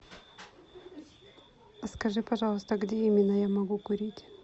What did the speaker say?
скажи пожалуйста где именно я могу курить